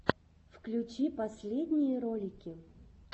включи последние ролики